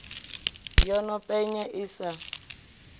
yo no penya i sa